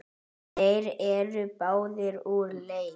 Þeir eru báðir úr leik.